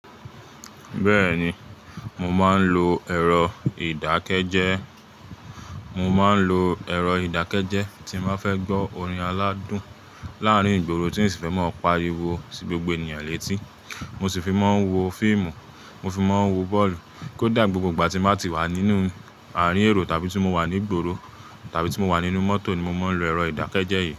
Bẹ́ẹ̀ni, mo máa ń lo ẹ̀rọ ìdákẹ́jẹ́, mo máa ń lo ẹ̀rọ ìdákẹ́jẹ́ tí n ba fẹ́ gbọ́ orin aládùn láàárín ìgboro tí n sì fẹ́ máa pariwo sí gbogbo ènìyàn létí. Mo sì fi máa ń wo fíìmù, mo fi máa ń wò bọ́ọ̀lù, kóda, ni gbogbo ìgbà tí n bá ti wà nínú àárín èrò tàbí tí mo wà ní ìgboro tàbí tí mo wà nínú mọ́tò ni mo máa ń lo ẹ̀rọ ìdákẹ́jẹ́ yìí.